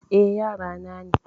Eh, yara na ne.